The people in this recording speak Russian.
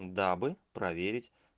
дабы проверить